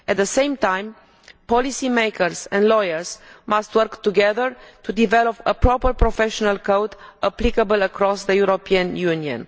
At the same time policymakers and lawyers must work together to develop a proper professional code applicable across the European Union.